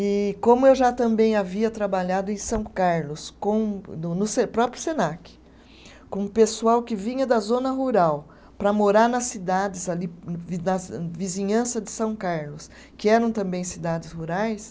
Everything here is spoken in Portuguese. E, como eu já também havia trabalhado em São Carlos com, no no se, no próprio Senac, com o pessoal que vinha da zona rural para morar nas cidades ali, nas vizinhança de São Carlos, que eram também cidades rurais,